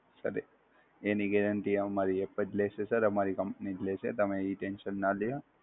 Sir, એની guarantee અમારી App જ લેસે સર અમારી Company જ લેસે તમે એ tension નાં લ્યો!